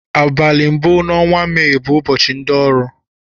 Abali mbu na ọnwa may bu ụbọchi ndi ọrụ